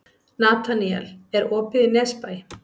Nataníel, er opið í Nesbæ?